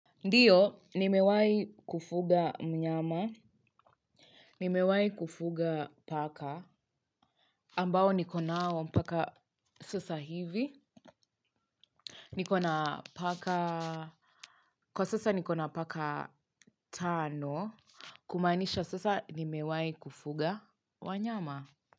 Ndiyo nimewai kufuga mnyama. Nimewai kufuga paka ambao niko nao mpaka sasa hivi. Nikona paka. Kwa sasa nikona paka tano kumanisha sasa nimewai kufuga wanyama.